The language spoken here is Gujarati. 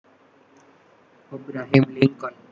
Abraham Lincoln